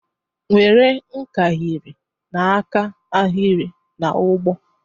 Were nkahịrị na-aka ahịrị na ụgbọ!.